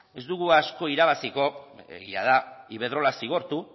ez dugu asko irabaziko egia da iberdrola zigortu